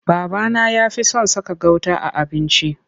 Babana ya fi son saka gauta a abinci.